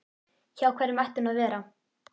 Hjá hverjum ætti hún að vera?